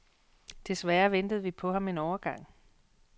Desværre ventede vi på ham en overgang.